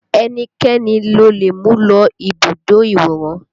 Ẹnikẹ́ni lo lè mú lọ ibùdó ìwòran